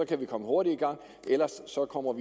kan vi komme hurtigt i gang ellers kommer vi